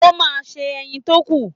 O máa se ẹyin tó kù.